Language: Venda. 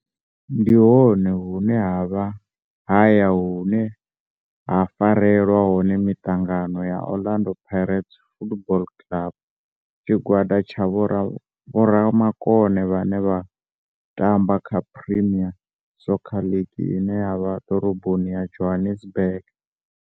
Ndi hone hune havha haya hune ha farelwa hone mitangano ya Orlando Pirates Football Club. Tshigwada tsha vhomakone vhane vha tamba kha Premier Soccer League ine ya vha Dorobo ya Johannesburg.